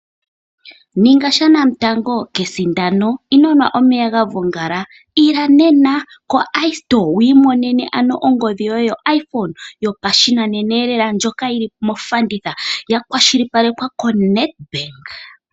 Ninga shanamutango kesindano. Ino nwa omeya ga vongala. Ila nena koiStore wiimonene ano ongodhi yoye yoiPhone yopashinanenalela ndjoka yi li mofanditha, ya kwashilipalekwa koNedbank.